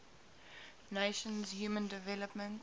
nations human development